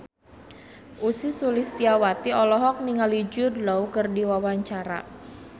Ussy Sulistyawati olohok ningali Jude Law keur diwawancara